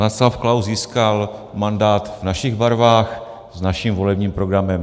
Václav Klaus získal mandát v našich barvách s naším volebním programem.